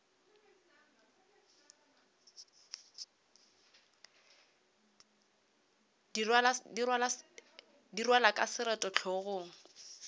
di rwalwa ka seroto hlogong